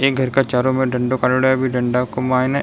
एक घर के चारो मेर डंडाे काढ़ेड़ो है बी डंडा के मायने --